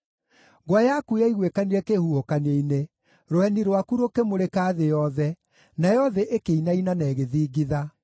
Ngwa yaku yaiguĩkanire kĩhuhũkanio-inĩ, rũheni rwaku rũkĩmũrĩka thĩ yothe, nayo thĩ ĩkĩinaina na ĩgĩthingitha.